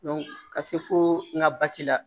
ka se fo n ka baki la